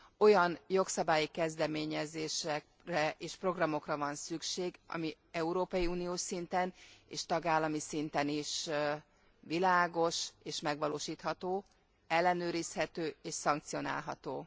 Olyan jogszabály kezdeményezésekre és programokra van szükség, ami európai uniós szinten és tagállami szinten is világos és megvalósítható, ellenőrizhető és szankcionálható.